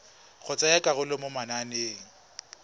go tsaya karolo mo mananeng